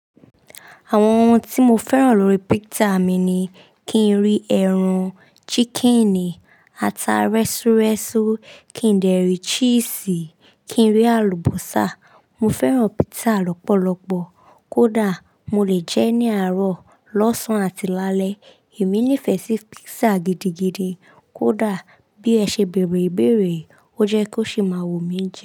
Àwọn ohun tí mo fẹ́ràn lórí pizza mi ni kí n rí ẹran chickenì, ata rẹ́súrẹ́sú, kí n dèrí cheese, kí n rí àlùbọ́sà. Mo fẹ́ràn pizza lọ́pọ̀lọ́pọ̀. Kódà mo lè jẹ́ ní àárọ̀, lọ́sàn-án àti lálẹ́. Èmi nífẹ̀ẹ́ sí pizza gidigidi. Kódà bí ẹ ṣe bèrè ìbéèrè, ó jẹ́ kó ṣi máa wu mí jẹ.